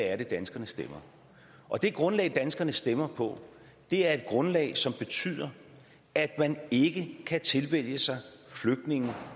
er danskerne stemmer og det grundlag som danskerne stemmer på er et grundlag som betyder at man ikke kan tilvælge flygtninge